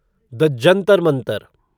the Jantar Mantar